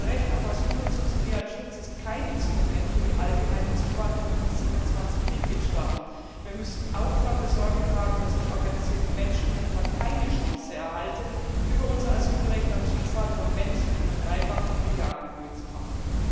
Das Recht auf Asyl und subsidiären Schutz ist kein Instrument für die allgemeine Zuwanderung in die 27 Mitgliedstaaten. Wir müssen auch dafür Sorge tragen, dass die organisierten Menschenhändler keine Chance erhalten, über unser Asylrecht am Schicksal von Menschen ihren Reibach in Milliardenhöhe zu machen.